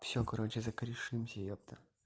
всё короче закорешимся ёпта